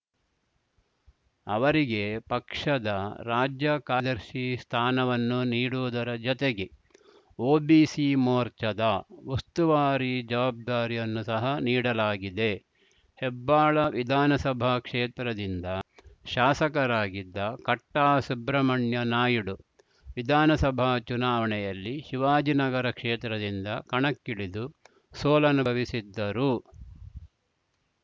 ಅವರಿಗೆ ಪಕ್ಷದ ರಾಜ್ಯ ಕಾರ್ಯದರ್ಶಿ ಸ್ಥಾನವನ್ನು ನೀಡುವುದರ ಜತೆಗೆ ಓಬಿಸಿ ಮೋರ್ಚಾದ ಉಸ್ತುವಾರಿ ಜವಾಬ್ದಾರಿಯನ್ನು ಸಹ ನೀಡಲಾಗಿದೆ ಹೆಬ್ಬಾಳ ವಿಧಾನಸಭಾ ಕ್ಷೇತ್ರದಿಂದ ಶಾಸಕರಾಗಿದ್ದ ಕಟ್ಟಾಸುಬ್ರಹ್ಮಣ್ಯ ನಾಯ್ಡು ವಿಧಾನಸಭಾ ಚುನಾವಣೆಯಲ್ಲಿ ಶಿವಾಜಿನಗರ ಕ್ಷೇತ್ರದಿಂದ ಕಣಕ್ಕಿಳಿದು ಸೋಲನುಭವಿಸಿದ್ದರು